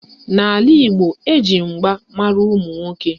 N'ala Igbo, eji mgba mara ụmụnwoke